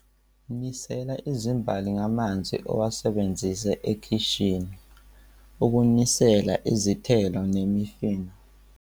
Nisela izimbali ngamanzi owasebenzise ekhishini ukuhlambulula izithelo nemifino.